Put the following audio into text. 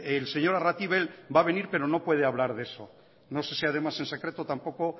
el señor arratibel va a venir pero no puede hablar de eso no sé si además en secreto tampoco